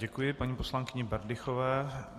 Děkuji paní poslankyni Berdychové.